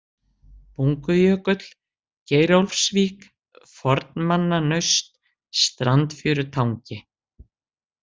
Bungujökull, Geirólfsvík, Fornmannanaust, Sandfjörutangi